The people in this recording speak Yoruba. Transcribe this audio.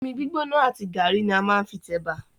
Omi gbígbóná àti gàrí ní a máa ń fi tẹ̀bà.